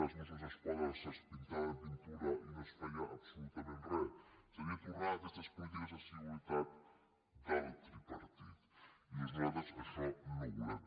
als mossos d’esquadra se’ls pintava de pintura i no es feia absolutament re seria tornar a aquestes polítiques de seguretat del tripartit i nosaltres això no ho volem